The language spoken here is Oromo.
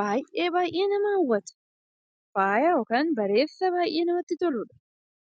baay'ee baay'ee nama hawwata. Faaya yookaan bareeda baay'ee namatti toludha.